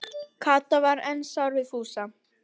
Kata var enn sár við Fúsa.